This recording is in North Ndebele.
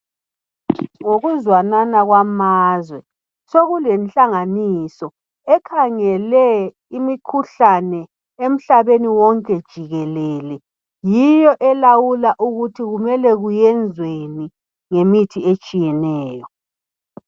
Ngokuzwanana kwamazwe sokulenhlanganiso ekhangele imikhuhlane emhlabeni wonke jikelele , yiyo elawula ukuthi kumele kuyenzweni ngemithi etshiyeneyo